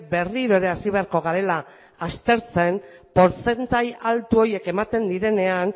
berriro ere hasi beharko garela aztertzen portzentai altu horiek ematen direnean